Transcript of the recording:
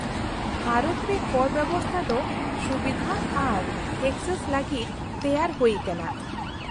-ᱵᱷᱟᱨᱚᱛ ᱨᱮ ᱠᱚᱨ ᱵᱮᱵᱚᱥᱛᱷᱟ ᱫᱚ ᱥᱩᱵᱤᱫᱷᱟ ᱟᱨ ᱮᱠᱥᱮᱥ ᱞᱟᱹᱜᱤᱫ ᱛᱮᱭᱟᱨ ᱦᱩᱭ ᱟᱠᱟᱱᱟ ᱾